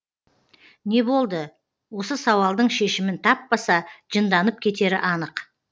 не болды осы сауалдың шешімін таппаса жынданып кетері анық